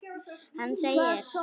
Hann segir: